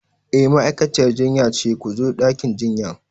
E, ma'aikaciyar jinya ta ce ku zo ɗakin jinyan.